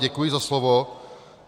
Děkuji za slovo.